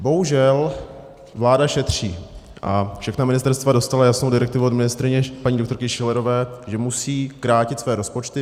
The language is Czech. Bohužel vláda šetří a všechna ministerstva dostala jasnou direktivu od ministryně paní doktorky Schillerové, že musí krátit své rozpočty.